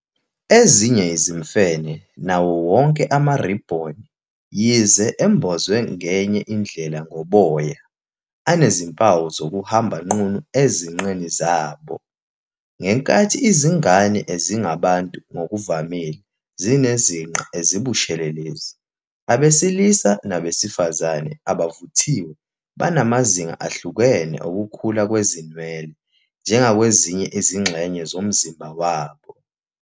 Ezinye izimfene nawo wonke amaribhoni, yize embozwe ngenye indlela ngoboya, anezimpawu zokuhamba nqunu ezinqeni zabo. Ngenkathi izingane ezingabantu ngokuvamile zinezinqe ezibushelelezi, abesilisa nabesifazane abavuthiwe banamazinga ahlukene okukhula kwezinwele, njengakwezinye izingxenye zomzimba wabo.